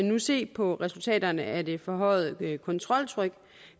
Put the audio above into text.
nu se på resultaterne af det forhøjede kontroltryk